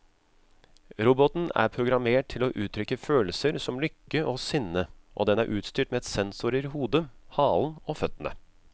Roboten er programmert til å uttrykke følelser som lykke og sinne, og den er utstyrt med sensorer i hodet, halen og føttene.